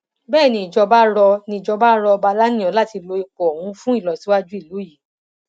bẹẹ nìjọba rọ nìjọba rọ ọba aláníyàn láti lo ipò ọhún fún ìlọsíwájú ìlú yìí